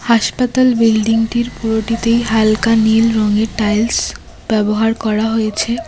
হাসপাতাল বিল্ডিংটির পুরোটিতেই হালকা নীল রঙের টাইলস ব্যবহার করা হয়েছে।